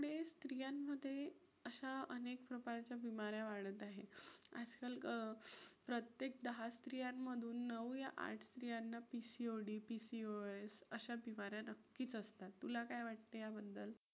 ते अशा अनेक प्रकारच्या बीमाऱ्या वाढत आहेत. आजकाल अं प्रत्येक दहा स्त्रियांमधून नऊ या आठ स्त्रियांना PCOD, PCOS अशा बीमाऱ्या नक्कीच असतात. तुला काय वाटते याबद्दल?